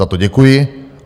Za to děkuji.